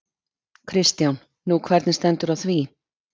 Kristján: Nú, hvernig stendur á því?